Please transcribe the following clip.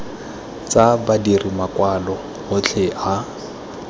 tsa badiri makwalo otlhe a